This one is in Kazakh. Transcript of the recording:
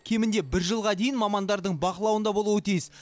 кемінде бір жылға дейін мамандардың бақылауында болуы тиіс